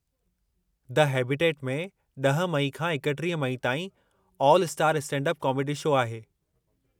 The habitat में 10 मई खां 31 मई ताईं 'ऑल-स्टार स्टैंडअप कॉमेडी' शो आहे।